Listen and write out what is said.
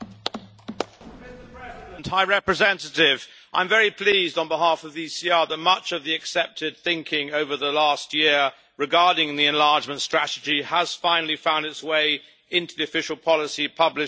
Mr President, I am very pleased to say, on behalf of the ECR, that much of the accepted thinking over the last year regarding the enlargement strategy has finally found its way into the official policy published this afternoon.